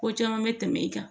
Ko caman bɛ tɛmɛ i kan